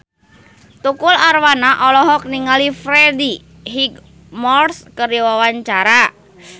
Tukul Arwana olohok ningali Freddie Highmore keur diwawancara